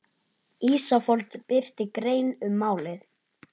Ísafold birti grein um málið